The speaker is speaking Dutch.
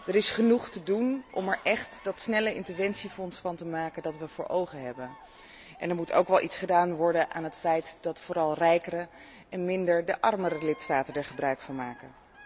Er is genoeg te doen om er echt dat snelle interventiefonds van te maken dat we voor ogen hadden, en er moet ook iets gedaan worden aan het feit dat vooral rijkere en niet de armere lidstaten er gebruik van maken.